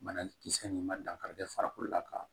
Banakisɛ nin ma dankari kɛ farikolo la ka